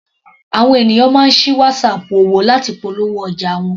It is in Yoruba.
Àwọn ènìyàn máa ń sí Whatsapp òwò láti polówó ọjà wọn.